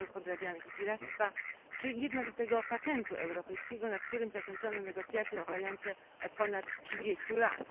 towarów podrabianych i piractwa czy jednolitego patentu europejskiego, nad którym zakończono negocjacje trwające od ponad 30 lat.